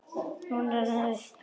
Hún rennur upp.